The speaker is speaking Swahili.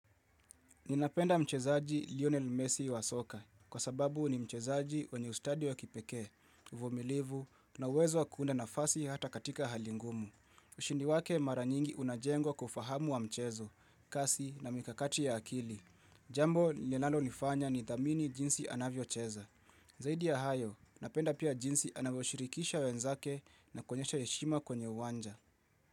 Ninapenda mchezaji Lionel Messi wa soka kwa sababu ni mchezaji wenye ustadi wa kipekee, uvumilivu na uwezo wa kuunda nafasi hata katika hali ngumu. Ushindi wake mara nyingi unajengwa kwa ufahamu wa mchezo, kasi na mikakati ya akili. Jambo linalo nifanya nithamini jinsi anavyocheza. Zaidi ya hayo, napenda pia jinsi anavyoshirikisha wenzake na kuonyesha heshima kwenye uwanja.